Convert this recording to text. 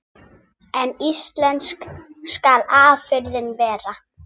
En íslensk skal afurðin vera.